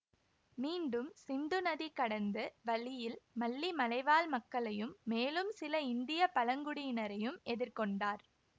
மீண்டும் சிந்து நதி கடந்து வழியில் மல்லி மலைவாழ் மக்களையும் மேலும் சில இந்திய பழங்குடியினரையும் எதிர்கொண்டார்